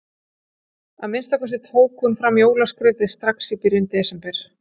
Að minnsta kosti tók hún fram jólaskrautið strax í byrjun desember.